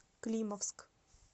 климовск